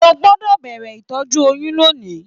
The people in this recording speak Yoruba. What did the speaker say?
O gbọdọ bẹrẹ ìtọjú oyún lóni!